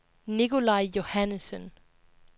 Nicolaj Johannessen